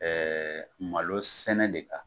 malosɛnɛ de ka